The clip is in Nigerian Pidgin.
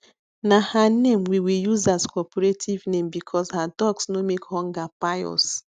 na her name we we use as cooperative name bcuz her ducks no make hunger kpai us